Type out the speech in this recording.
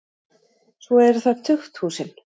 Svo eru það tukthúsin.